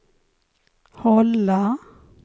hålla